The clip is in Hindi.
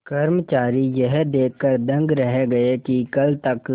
कर्मचारी यह देखकर दंग रह गए कि कल तक